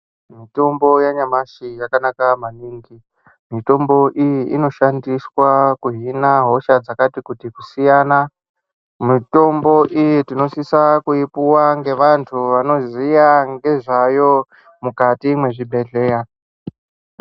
Mutombo yanyamashi yakanaka maningi, mitombo iyi inoshandiswa kuhina hosha dzakati kuti kusiyana. Mitombo iyi tinosisa kuipuwa ngevantu vanoziya ngezvayo mukati mwezvibhedhlera.